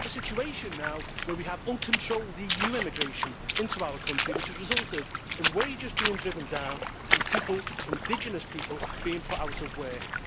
We have a situation now where we have uncontrolled EU immigration into our country, which has resulted in wages being driven down and people indigenous people being put out of work.